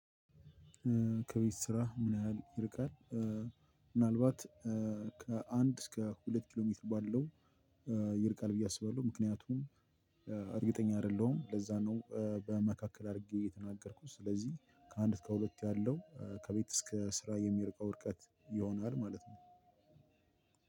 ከቤት ስራ ምን ያህል ይርቃል? ምናልባት ከአንድ እስከ ሁለት ኪሎ ሜትር ባለው ይርቃል ብዬ አስባለሁ። ምክንያቱም እርግጠኛ አይደለሁም ለዛ ነው በመካከል አድርጌ የተናገርኩት። ስለዚህ ከአንድ እስከ ሁለት ያለው ከቤት እስከ ስራ የሚርቀው ርቀት ይሆናል ማለት ነው።